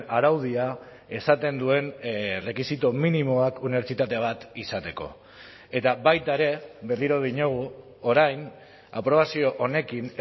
araudia esaten duen rekisito minimoak unibertsitate bat izateko eta baita ere berriro diogu orain aprobazio honekin